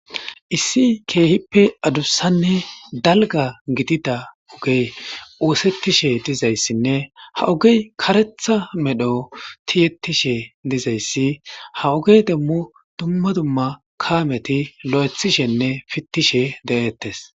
Issi kehippe adusane dalga gidiza ogey osetishe dizaysine ha ogey karetha medhora tiye tiyetishe de'es ha ogen dumma dumma kameti fitishe lo'ethishe detes